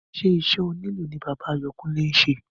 Ṣé iṣẹ́ onílù ní bàbá Àyánkúnlé ṣe?